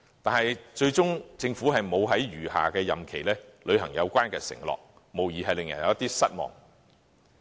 但是，政府最終沒有在餘下的任期履行有關承諾，無疑令人有點失望。